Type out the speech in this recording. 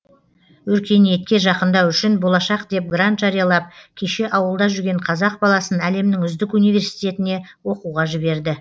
өркениетке жақындау үшін болашақ деп грант жариялап кеше ауылда жүрген қазақ баласын әлемнің үздік университетіне оқуға жіберді